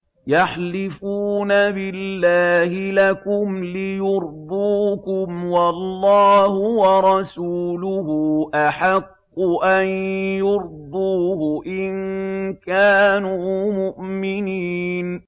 يَحْلِفُونَ بِاللَّهِ لَكُمْ لِيُرْضُوكُمْ وَاللَّهُ وَرَسُولُهُ أَحَقُّ أَن يُرْضُوهُ إِن كَانُوا مُؤْمِنِينَ